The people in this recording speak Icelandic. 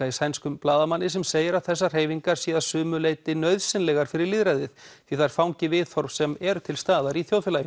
í sænskum blaðamanni sem segir að þessar hreyfingar séu að sumu leyti nauðsynlegar fyrir lýðræðið því þær fangi viðhorf sem eru til staðar